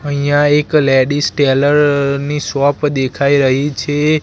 અહીંયા એક ladies tailor ની શોપ દેખાય રહી છે.